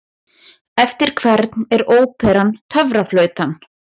Eftir hvern er óperan Töfraflautan?